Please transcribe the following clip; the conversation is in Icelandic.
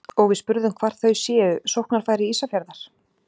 Og við spurðum hvar þau séu sóknarfæri Ísafjarðar?